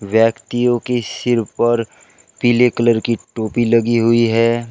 व्यक्तियों के सिर पर पीले कलर की टोपी लगी हुई है।